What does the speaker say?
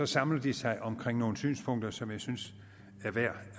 samler de sig omkring nogle synspunkter som jeg synes er værd